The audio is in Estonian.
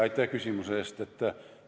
Aitäh küsimuse eest!